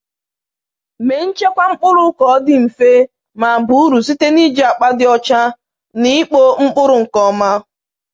Mee nchekwa mkpụrụ ka ọ dị mfe ma baa uru site n’iji akpa dị ọcha na ikpo mkpụrụ nke ọma.